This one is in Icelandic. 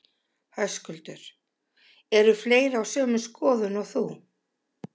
Höskuldur: Eru fleiri á sömu skoðun og þú?